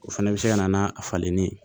O fɛnɛ bɛ se ka na n'a falenni ye